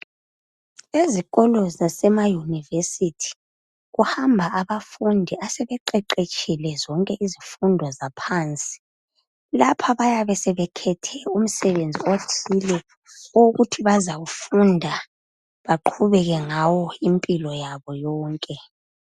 Ezikolo zasema University kuhamba abafundi asebeqeqetshile zonke izifundo zaphansi. Lapha bayabe sebekhethe umsebenzi othile owokuthi bazawufunda baqhubeke ngawo impilo yabo yonke.